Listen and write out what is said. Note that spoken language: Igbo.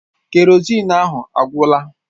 Kerozin ahụ agwụla.